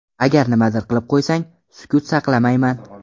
Agar nimadir qilib qo‘ysang, sukut saqlamayman.